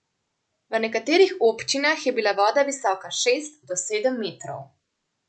V nekaterih občinah je bila voda visoka šest do sedem metrov.